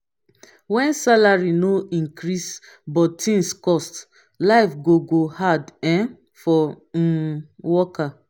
when salary no increase but things cost life go go hard um for um worker.